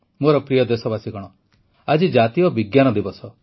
ମୋର ପ୍ରିୟ ଦେଶବାସୀଗଣ ଆଜି ଜାତୀୟ ବିଜ୍ଞାନ ଦିବସ